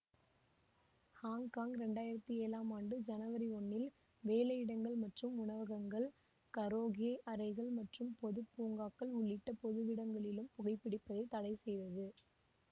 Hong Kong ரெண்டயிரத்தி ஏழாம் ஆண்டு ஜனவரி ஒன்னில் வேலையிடங்கள் மற்றும் உணவகங்கள் கரோகே அறைகள் மற்றும் பொது பூங்காக்கள் உள்ளிட்ட பொதுவிடங்களிலும் புகைபிடிப்பதை தடைசெய்ததது